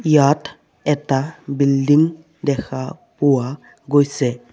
ইয়াত এটা বিল্ডিং দেখা পোৱা গৈছে।